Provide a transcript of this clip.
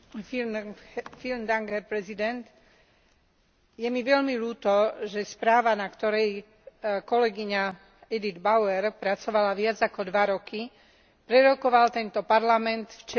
Je mi veľmi ľúto, že správu, na ktorej kolegyňa Edit Bauer pracovala viac ako dva roky, prerokoval tento Parlament včera pred polnocou ako posledný bod programu.